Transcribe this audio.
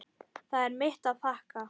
Það er mitt að þakka.